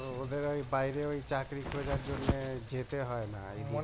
ও ওদের ঐ বাইরে ওই চাকরি খোঁজার জন্য যেতে হয়না